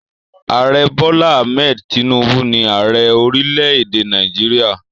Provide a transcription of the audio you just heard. Ààrẹ Bola Hammed Tinubu ni ààrẹ orílẹ̀-èdè Nàìjíríà.